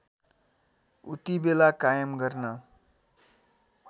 उतिबेला कायम गर्न